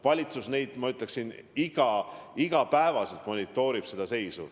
Valitsus iga päev monitoorib seda seisu.